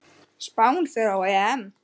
Spánn fer á EM.